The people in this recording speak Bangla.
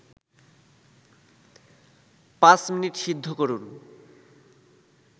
৫ মিনিট সিদ্ধ করুন